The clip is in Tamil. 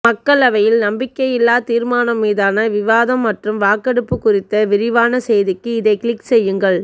மக்களவையில் நம்பிக்கையில்லா தீர்மானம் மீதான விவாதம் மற்றும் வாக்கெடுப்பு குறித்த விரிவான செய்திக்கு இதை கிளிக் செய்யுங்கள்